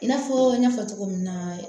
I n'a fɔ n y'a fɔ cogo min na